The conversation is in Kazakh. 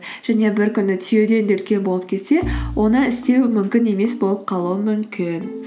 және бір күні түйеден де үлкен болып кетсе оны істеу мүмкін емес болып қалуы мүмкін